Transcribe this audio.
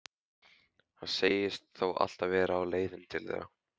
Hann segist þó alltaf vera á leiðinni til þeirra.